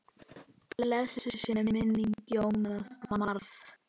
Blessuð sé minning Jóns Mars.